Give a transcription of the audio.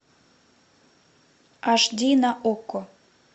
аш ди на окко